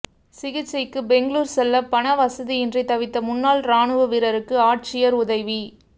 சிகிச்சைக்கு பெங்களூா் செல்ல பண வசதியின்றி தவித்த முன்னாள் ராணுவ வீரருக்கு ஆட்சியா் உதவி